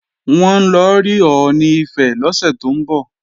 Wọ́n ń lọ rí Ọọ̀ni Ifẹ̀ lọ́sẹ̀ tó ń bọ̀